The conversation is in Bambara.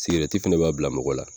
Sigirɛti fɛnɛ b'a bila mɔgɔ la